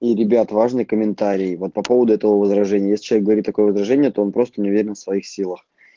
ну ребят важные комментарии вот по поводу этого возражения вот сейчас говорит такое выражение то он просто не уверен в своих силах